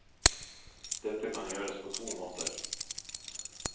Dette kan gjøres på to måter.